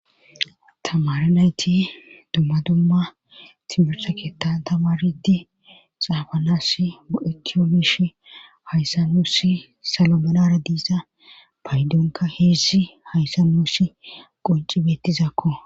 Tamara nayti dumma dumma timirsa ketan tamaridi xaafanas mo'eki omish hayssanuusi salo menara diiza paydonka heezi hayssanusi qoncibettizakko.